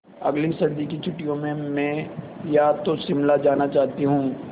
अगली सर्दी की छुट्टियों में मैं या तो शिमला जाना चाहती हूँ